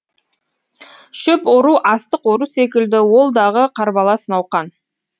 шөп ору астық ору секілді ол дағы қарбалас науқан